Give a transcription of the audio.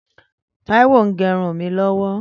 Taiwo n gẹrún mi lọwọ